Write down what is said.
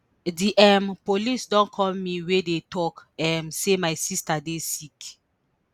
di um police don call me wey dey tok um say my sister dey sick